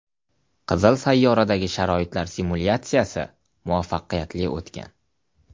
Qizil sayyoradagi sharoitlar simulyatsiyasi muvaffaqiyatli o‘tgan.